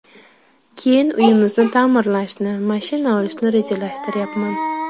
Keyin uyimizni ta’mirlashni, mashina olishni rejalashtiryapman.